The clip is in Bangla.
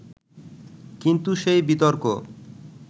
কিন্তু সেই বিতর্ক